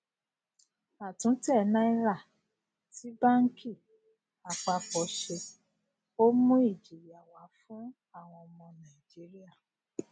a tún tẹ náírà tí banki apapo ṣe ó mú ìjìyà wá fún àwọn ọmọ naijiria